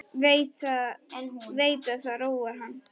Veit að það róar hann.